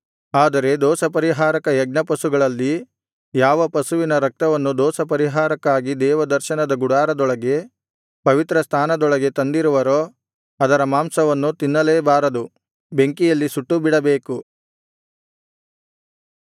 ಆದರೆ ದೋಷಪರಿಹಾರಕ ಯಜ್ಞಪಶುಗಳಲ್ಲಿ ಯಾವ ಪಶುವಿನ ರಕ್ತವನ್ನು ದೋಷಪರಿಹಾರಕ್ಕಾಗಿ ದೇವದರ್ಶನದ ಗುಡಾರದೊಳಗೆ ಪವಿತ್ರ ಸ್ಥಾನದೊಳಗೆ ತಂದಿರುವರೋ ಅದರ ಮಾಂಸವನ್ನು ತಿನ್ನಲೇಬಾರದು ಬೆಂಕಿಯಲ್ಲಿ ಸುಟ್ಟುಬಿಡಬೇಕು